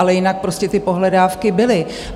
Ale jinak prostě ty pohledávky byly.